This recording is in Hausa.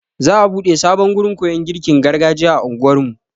Za'a buɗe sabon gurin koyon girkin gargajiya a anguwar mu.